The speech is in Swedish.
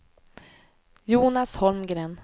Jonas Holmgren